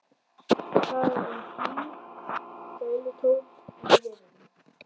Það er hlýr gælutónn í bréfunum.